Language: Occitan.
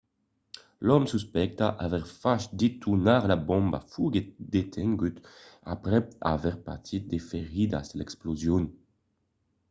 l'òme suspectat d'aver fach detonar la bomba foguèt detengut aprèp aver patit de feridas de l'explosion